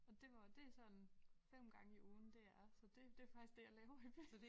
Og det var det sådan 5 gange i ugen det er så det det faktisk det jeg laver i byen